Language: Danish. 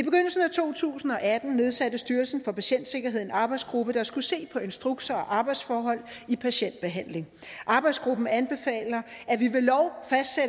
to tusind og atten nedsatte styrelsen for patientsikkerhed en arbejdsgruppe der skulle se på instrukser og arbejdsforhold i patientbehandling arbejdsgruppen anbefaler